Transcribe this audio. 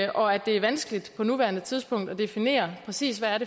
og at det er vanskeligt på nuværende tidspunkt at definere præcis hvad